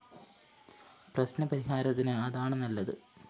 പ്രശ്‌ന പരിഹാരത്തിന് അതാണ് നല്ലത്